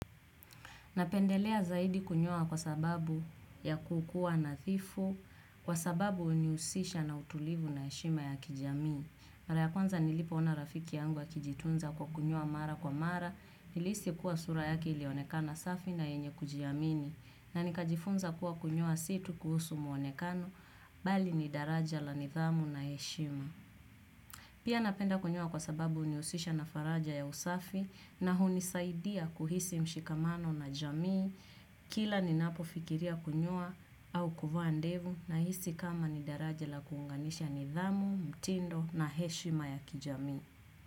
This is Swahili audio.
Napendelea zaidi kunyoa kwa sababu ya kukuwa nadhifu, kwa sababu hunihusisha na utulivu na heshima ya kijamii. Mara ya kwanza nilipo ona rafiki yangu akijitunza kwa kunyoa mara kwa mara, nilihisi kuwa sura yake ilionekana safi na yenye kujiamini. Na nikajifunza kuwa kunyoa si tu kuhusu mwonekano, bali ni daraja la nidhamu na heshima. Pia napenda kunyoa kwa sababu hunihusisha na faraja ya usafi na hunisaidia kuhisi mshikamano na jamii kila ninapofikiria kunyoa au kuvaa ndevu nahisi kama ni daraja la kuunganisha nidhamu, mtindo na heshima ya kijamii.